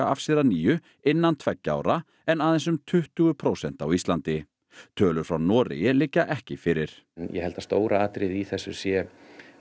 af sér að nýju innan tveggja ára en aðeins um tuttugu prósent á Íslandi tölur frá Noregi liggja ekki fyrir ég held að stóra atriðið í þessu sé